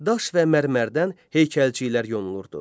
Daş və mərmərdən heykəlciklər yonulurdu.